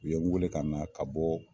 U ye n wele ka na ka bɔ